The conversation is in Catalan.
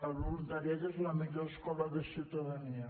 el voluntariat és la millor escola de ciutadania